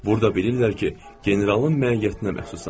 Burda bilirlər ki, generalın məiyyətinə məxsusam.